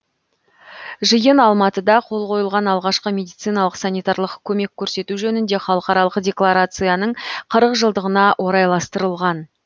жиын алматыда қол қойылған алғашқы медициналық санитарлық көмек көрсету жөніндегі халықаралық декларацияның қырық жылдығына орайластырылған